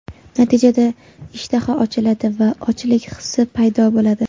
Natijada ishtaha ochiladi va ochlik hissi paydo bo‘ladi.